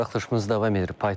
Buraxılışımız davam edir.